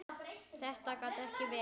Þetta gat ekki verið.